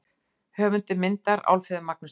Höfundur myndar: Álfheiður Magnúsdóttir.